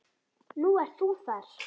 Nú ert þú þar.